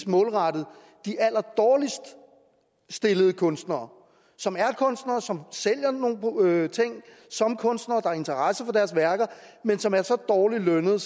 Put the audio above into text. målrettet de allerdårligst stillede kunstnere som kunstnere som sælger nogle ting som kunstnere der er interesse for deres værker men som er så dårligt lønnet